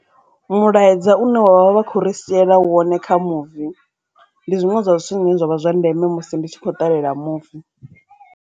Mulaedza une wavha vha kho ri siela wone kha muvi ndi zwiṅwe zwa zwithu zwine zwavha zwa ndeme musi ndi tshi kho ṱalela movie.